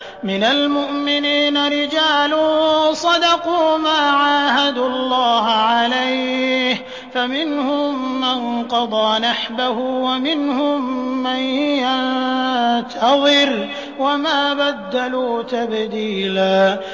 مِّنَ الْمُؤْمِنِينَ رِجَالٌ صَدَقُوا مَا عَاهَدُوا اللَّهَ عَلَيْهِ ۖ فَمِنْهُم مَّن قَضَىٰ نَحْبَهُ وَمِنْهُم مَّن يَنتَظِرُ ۖ وَمَا بَدَّلُوا تَبْدِيلًا